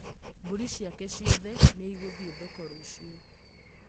Mbũri ciake ciothe nĩ igũthiĩ thoko rũciũ